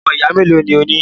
Ọmọ ìyá melo ni o ní?